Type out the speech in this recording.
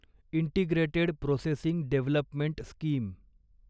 integrated processing development scheme